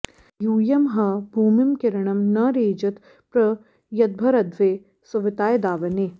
यूयं ह भूमिं किरणं न रेजथ प्र यद्भरध्वे सुविताय दावने